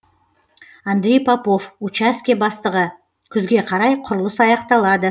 андрей попов учаске бастығы күзге қарай құрылыс аяқталады